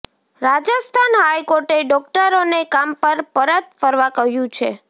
રાજસ્થાન હાઇકોર્ટે ડોક્ટરોને કામ પર પરત ફરવા કહ્યું છે